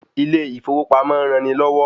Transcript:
Ilé ìfowópamọ́ ń ran ni lọ́wọ́